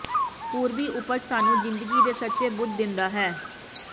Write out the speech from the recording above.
ਪੂਰਬੀ ਉਪਜ ਸਾਨੂੰ ਜ਼ਿੰਦਗੀ ਦੇ ਸੱਚੇ ਬੁੱਧ ਦਿੰਦਾ ਹੈ